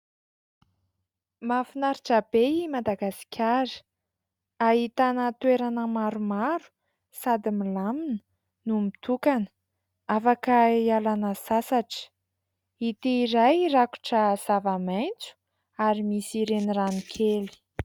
Mahafinaritra be i Madagasikara, ahitana toerana maromaro sady milamina no mitokana afaka hialana sasatra. Ity iray rakotra zavamaitso ary misy renirano kely.